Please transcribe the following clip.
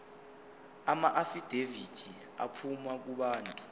amaafidavithi aphuma kubantu